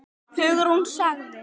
Hugrún sagði